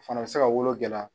fana bɛ se ka wolo gɛlɛya.